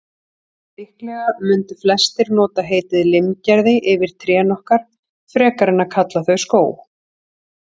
Líklega mundu flestir nota heitið limgerði yfir trén okkar, frekar en að kalla þau skóg.